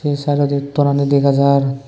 se sideodi tonani dega jar.